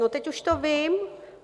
No, teď už to vím.